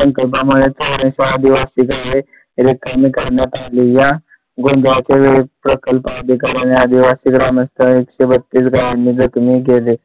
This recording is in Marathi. संकल्प मुळे चौरस आदिवासी झाले रिकामी कामात आले. या गोंधळा प्रकल्प अधिकारी आदिवासी ग्रामस्थ एकशे बत्तीस गावांमध्ये जखमी केले.